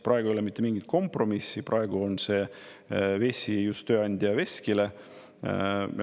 Praegu ei ole mitte mingit kompromissi, praegu on see vesi just tööandja veskile.